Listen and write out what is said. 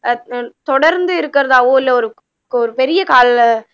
தொடர்ந்து இருக்கிறதாவோ இல்ல ஒரு பெரிய கால